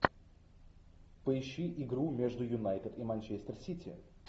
поищи игру между юнайтед и манчестер сити